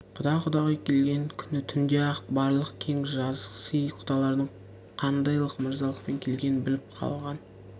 құда құдағи келген күні түнде-ақ барлық кең жазық сый құдалардың қандайлық мырзалықпен келгенін біліп қалған